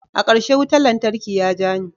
Akarshe wutan lantarki ya ja ni.